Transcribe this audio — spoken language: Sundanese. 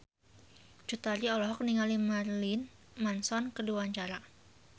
Cut Tari olohok ningali Marilyn Manson keur diwawancara